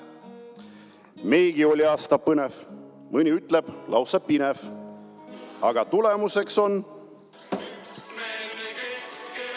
Meilgi oli aasta põnev, mõni ütleb, lausa pinev, aga tulemuseks on: "… üksmeelne Keskerakond."